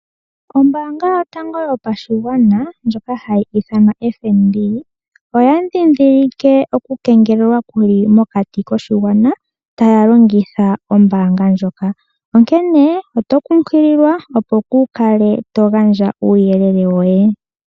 Ombaanga yotango yopashigwana ndjoka hayi ithanwa FNB oya ndhindhilike oku kengelelwa kuli mokati koshigwana, taya longitha ombaanga ndjoka, onkene oto kunkililwa opo kuu kale to gandja uuyelele woye.